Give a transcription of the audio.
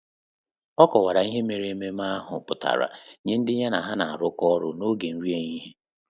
Ọ́ kọ́wàrà ihe mèrè ememe ahụ pụ́tàrà nyé ndị ya na há nà-árụ́kọ́ ọ́rụ́ n’ógè nrí éhihie.